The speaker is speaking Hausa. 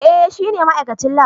Eh shine ma'aikacin lab.